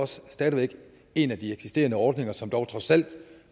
stadig væk en af de eksisterende ordninger som trods alt